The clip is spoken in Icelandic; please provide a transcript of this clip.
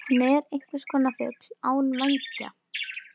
Hún er einhverskonar fugl án vængja.